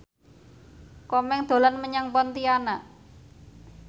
Komeng dolan menyang Pontianak